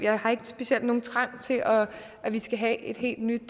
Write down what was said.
har ikke specielt nogen trang til at vi skal have et helt nyt